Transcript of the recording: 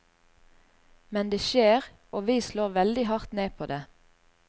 Men det skjer, og vi slår veldig hardt ned på det.